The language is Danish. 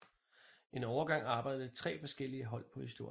En overgang arbejdede tre forskellige hold på historier